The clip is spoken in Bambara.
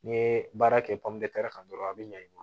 N'i ye baara kɛ kan dɔrɔn a bɛ ɲa i bolo